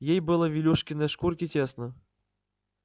ей было в илюшиной шкурке тесно